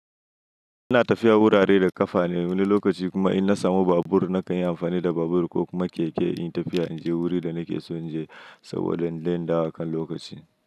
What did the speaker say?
Ina tafiya wurare da ƙafa ne wani lokaci kuma in na samu babur na kan yi amfani da babur ko kuma keke in yi tafiya in je wuri da nake so in je saboda inje in dawo akan lokaci.